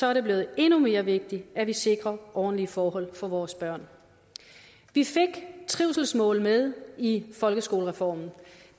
er det blevet endnu mere vigtigt at vi sikrer ordentlige forhold for vores børn vi fik trivselsmål med i folkeskolereformen